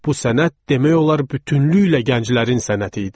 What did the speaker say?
Bu sənət demək olar bütövlükdə gənclərin sənəti idi.